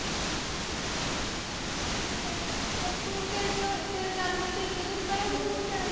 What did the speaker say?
ਤੂੰ ਤੇਰੇ ਤੇ ਹੋਵੇਂ ਤੇਰੇ ਜਨਮ ਦਿਨ ਤੋਂ ਇਕ ਦਿਨ ਪਹਿਲਾਂ ਸਿੱਧੂ ਮੂਸੇਵਾਲਾ।